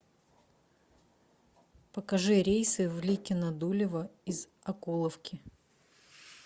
покажи рейсы в ликино дулево из окуловки